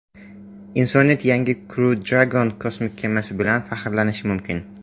Insoniyat yangi Crew Dragon kosmik kemasi bilan faxrlanishi mumkin.